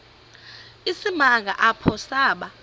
isimanga apho saba